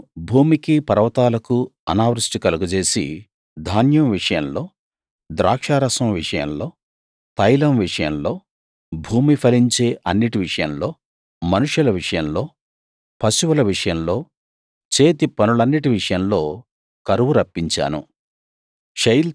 నేను భూమికీ పర్వతాలకూ అనావృష్టి కలగజేసి ధాన్యం విషయంలో ద్రాక్షారసం విషయంలో తైలం విషయంలో భూమి ఫలించే అన్నిటి విషయంలో మనుషుల విషయంలో పశువుల విషయంలో చేతి పనులన్నిటి విషయంలో కరువు రప్పించాను